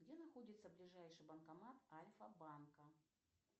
где находится ближайший банкомат альфабанка